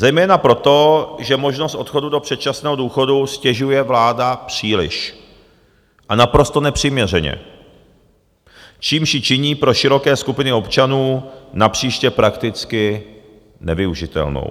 Zejména proto, že možnost odchodu do předčasného důchodu ztěžuje vláda příliš a naprosto nepřiměřeně, čímž ji činí pro široké skupiny občanů napříště prakticky nevyužitelnou.